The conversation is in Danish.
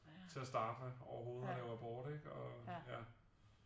Til at starte med overhovedet og lave abort ikke og ja